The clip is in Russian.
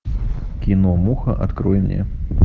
кино муха открой мне